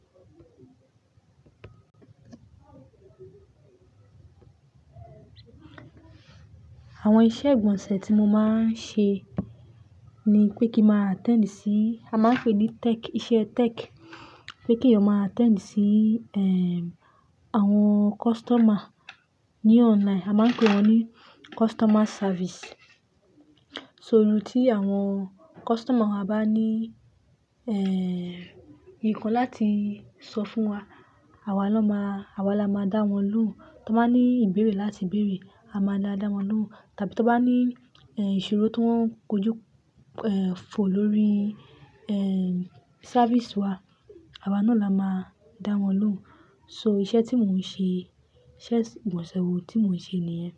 Àwọn iṣẹ́ ìgbọ̀nsẹ̀ tí mo máa ń ṣe ni pé kí máa attend sí, a máa ń pè é ní tech, iṣẹ́ tech. Pé kí eyan máa attend sí, ehn, àwọn customer ní online, a máa ń pè wọ́n ní customer service. So, tí àwọn customer wa bá ní, ehn, nǹkan láti sọ fún wa, àwa lọ máa, àwa la máa dá wọn lóhùn. To n bá ní ìbéèrè láti bèèrè, a máa da wọn lóhùn. Tàbí tí wọ́n bá ní, ehn, ìṣirò tó wọ́n kojú, ehn, fo lórí, ehn, service wa, àwa náà la máa dá wọn lóhùn. So, iṣẹ́ tí mò ń ṣe, iṣẹ́ ìgbọ̀nsẹ̀ wo tí mò ń ṣe nìyẹn.